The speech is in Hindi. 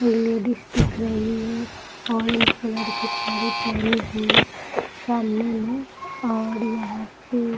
लेडीज दिख रही है ऑरेंज कलर की साड़ी पहनी हुई है सामने में और यहाँ पे --